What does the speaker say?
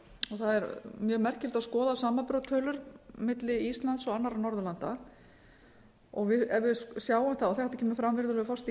það er mjög merkilegt að skoða samanburðartölur milli íslands og annarra norðurlanda ef við sjáum það og þetta kemur fram virðulegur forseti í